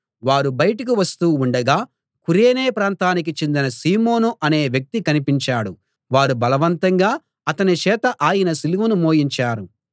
వారు బయటికి వస్తూ ఉండగా కురేనే ప్రాంతానికి చెందిన సీమోను అనే వ్యక్తి కనిపించాడు వారు బలవంతంగా అతని చేత ఆయన సిలువను మోయించారు